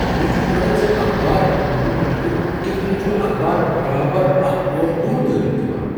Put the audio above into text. مےٚ چُھ حیرت زِ اخبار انن وول لڑکہٕ کتھہٕ كٕنۍ چھُ اخبار برابر اکھ پور ہیوٚر دٲرِتھ دِوان ۔